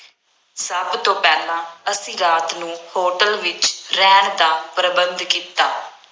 ਸਭ ਤੋਂ ਪਹਿਲਾਂ ਅਸੀਂ ਰਾਤ ਨੂੰ ਹੋਟਲ ਵਿੱਚ ਰਹਿਣ ਦਾ ਪ੍ਰਬੰਧ ਕੀਤਾ।